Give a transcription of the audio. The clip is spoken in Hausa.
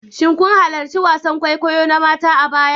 Shin kun halarci wasan kwaikwayo na mata a baya?